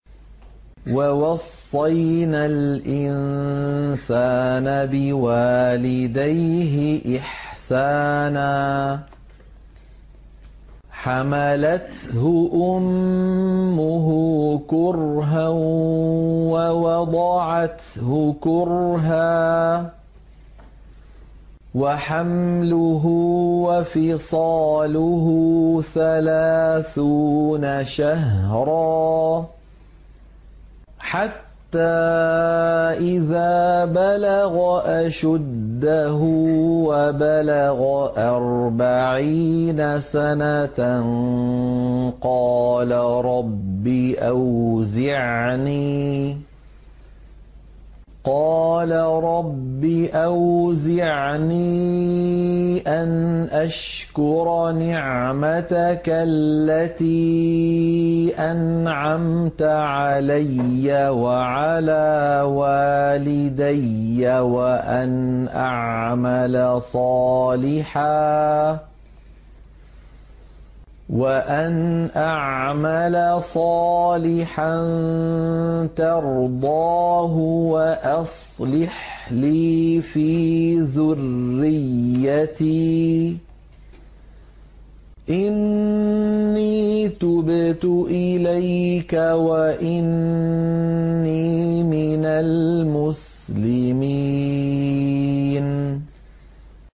وَوَصَّيْنَا الْإِنسَانَ بِوَالِدَيْهِ إِحْسَانًا ۖ حَمَلَتْهُ أُمُّهُ كُرْهًا وَوَضَعَتْهُ كُرْهًا ۖ وَحَمْلُهُ وَفِصَالُهُ ثَلَاثُونَ شَهْرًا ۚ حَتَّىٰ إِذَا بَلَغَ أَشُدَّهُ وَبَلَغَ أَرْبَعِينَ سَنَةً قَالَ رَبِّ أَوْزِعْنِي أَنْ أَشْكُرَ نِعْمَتَكَ الَّتِي أَنْعَمْتَ عَلَيَّ وَعَلَىٰ وَالِدَيَّ وَأَنْ أَعْمَلَ صَالِحًا تَرْضَاهُ وَأَصْلِحْ لِي فِي ذُرِّيَّتِي ۖ إِنِّي تُبْتُ إِلَيْكَ وَإِنِّي مِنَ الْمُسْلِمِينَ